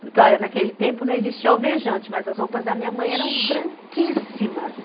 Porque, olha, naquele tempo não existia alvejante, mas as roupas da minha mãe eram branquíssimas.